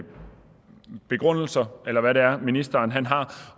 begrundelser eller hvad det er ministeren har